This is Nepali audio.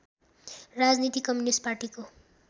राजनीति कम्युनिस्ट पार्टीको